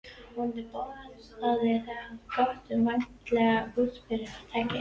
Vonandi boðaði það gott um væntanlegt útgerðarfyrirtæki.